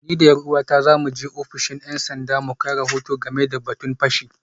Ni da ’yar’uwata za mu je ofishin ‘yan sanda mu kai rahoto game da batun fashi